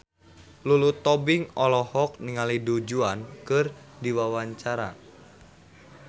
Lulu Tobing olohok ningali Du Juan keur diwawancara